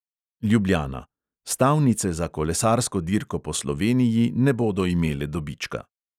Ljubljana: stavnice za kolesarsko dirko po sloveniji ne bodo imele dobička.